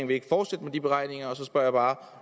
vil fortsætte med de beregninger og så spørger jeg bare